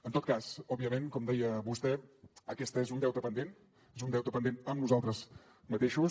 en tot cas òbviament com deia vostè aquest és un deute pendent és un deute pendent amb nosaltres mateixos